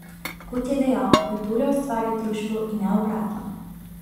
Kot je dejal, kultura ustvarja družbo in ne obratno.